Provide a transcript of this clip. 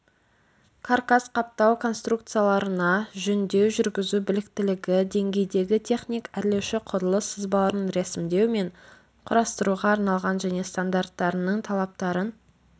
каркас-қаптау конструкцияларына жөндеу жүргізу біліктілігі деңгейдегі техник-әрлеуші құрылыс сызбаларын рәсімдеу мен құрастыруға арналған және стандарттарының талаптарын